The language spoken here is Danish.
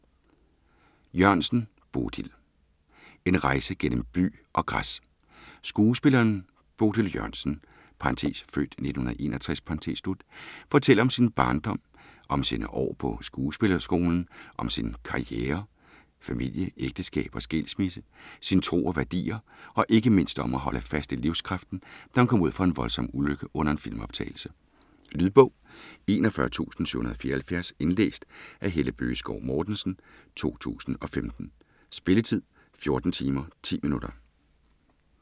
Jørgensen, Bodil: En rejse gennem bly og græs Skuespilleren Bodil Jørgensen (f. 1961) fortæller om sin barndom, om sine år på skuespillerskolen, om sin karriere, familie, ægteskab og skilsmisse, sin tro og værdier, og ikke mindst om at holde fast i livskraften, da hun kom ud for en voldsom ulykke under en filmoptagelse. Lydbog 41774 Indlæst af Helle Bøgeskov Mortensen, 2015. Spilletid: 14 timer, 10 minutter.